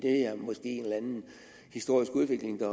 er måske en eller anden historisk udvikling der